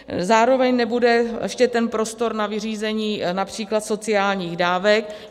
Zároveň nebude ještě ten prostor na vyřízení například sociálních dávek.